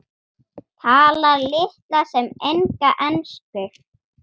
Talar litla sem enga ensku.